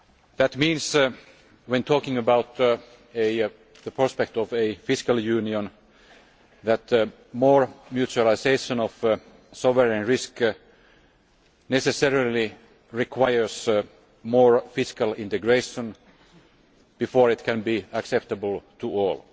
That means, when talking about the prospect of a fiscal union, that more mutualisation of sovereign risk necessarily requires more fiscal integration before it can be acceptable to all.